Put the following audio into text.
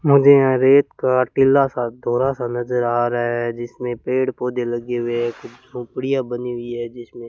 मुझे यहां रेत का टीला सा दौरा सा नज़र आ रहा है जिसमें पेड़ पौधे लगे हुए है कुछ झोपड़ियां बनी हुई है जिसमें--